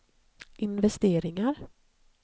investeringar